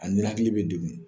A ninakili bɛ degun